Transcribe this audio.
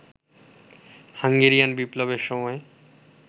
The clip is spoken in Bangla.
হাঙ্গেরিয়ান বিপ্লবের সময়